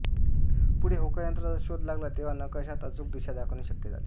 पुढे होकायंत्राचा शोध लागला तेव्हा नकाशात अचूक दिशा दाखविणे शक्य झाले